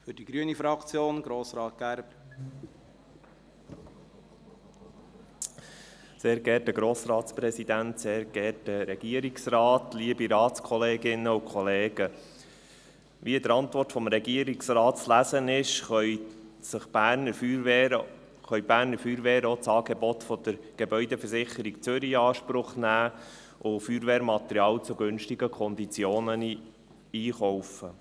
Wie in der Antwort des Regierungsrates zu lesen ist, können die Berner Feuerwehren auch das Angebot der Gebäudeversicherung Zürich (GVZ) in Anspruch nehmen und Feuerwehrmaterial zu günstigen Konditionen einkaufen.